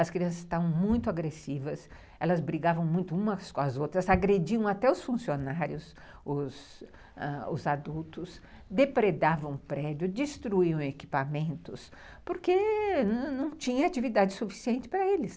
As crianças estavam muito agressivas, elas brigavam muito umas com as outras, agrediam até os funcionários, os os adultos, depredavam o prédio, destruíam equipamentos, porque não tinha atividade suficiente para eles.